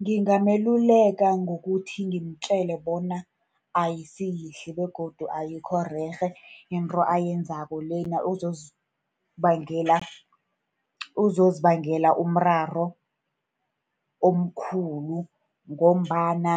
Ngingameluleka ngokuthi ngimtjele bona ayisi yihle, begodu ayikho rerhe into ayenzako lena. Uzozibangela, uzozibangela umraro omkhulu ngombana